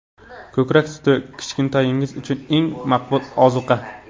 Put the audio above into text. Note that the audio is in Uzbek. Ko‘krak suti — kichkintoyingiz uchun eng maqbul ozuqa.